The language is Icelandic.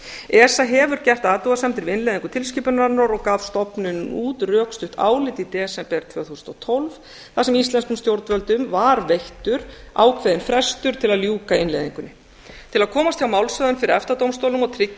esa hefur gert athugasemdir við innleiðingu tilskipunarinnar og gaf stofnunin út rökstutt álit í desember tvö þúsund og tólf þar sem íslenskum stjórnvöldum var veittur ákveðinn frestur til að ljúka innleiðingunni til að komast hjá málshöfðun fyrir efta dómstólnum og tryggja